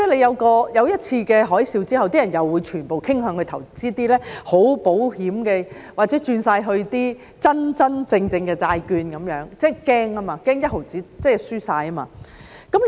發生一次"金融海嘯"之後，人們又會全部傾向投資一些十分保險的產品或全部轉到一些真真正正的債券，因為他們害怕，害怕連一毫子都輸掉。